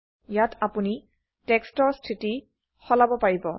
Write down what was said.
ইয়াত আপোনি টেক্সটৰ স্থিতি সলাব পাৰিম